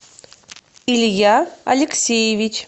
илья алексеевич